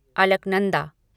Alaknanda